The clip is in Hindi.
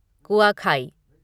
कुआखाई